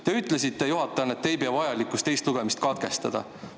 Te ütlesite juhatajana, et te ei pea vajalikuks teist lugemist katkestada.